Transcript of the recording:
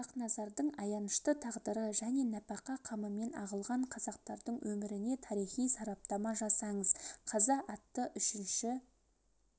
хақназардың аянышты тағдыры және нәпақа қамымен ағылған қазақтардың өміріне тарихи сараптама жасаңыз қаза атты үшінші